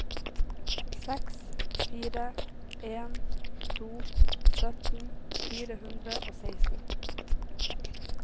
seks fire en to sytten fire hundre og seksten